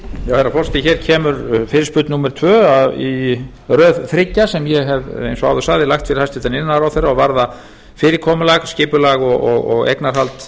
herra forseti hér kemur fyrirspurn númer tvö í röð þriggja sem ég hef eins og áður sagði lagt fyrir hæstvirtur iðnaðarráðherra og varða fyrirkomulag skipulag og eignarhald